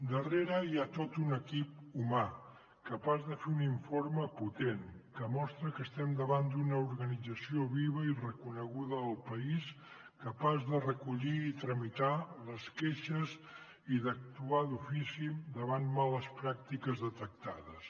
darrere hi ha tot un equip humà capaç de fer un informe potent que mostra que estem davant d’una organització viva i reconeguda al país capaç de recollir i tramitar les queixes i d’actuar d’ofici davant de males pràctiques detectades